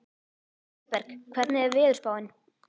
Auðberg, hvernig er veðurspáin?